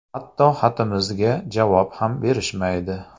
Hatto xatimizga javob ham berishmaydi.